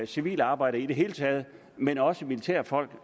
civile arbejdere i det hele taget men også militærfolk